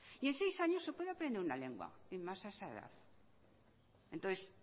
y en seis años se puede aprender una lengua y más a esa edad entonces